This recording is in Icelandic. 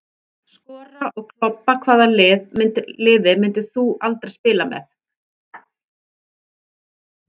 Skora og klobba Hvaða liði myndir þú aldrei spila með?